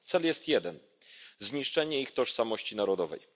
Cel jest jeden zniszczenie ich tożsamości narodowej.